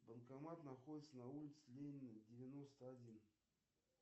банкомат находится на улице ленина девяносто один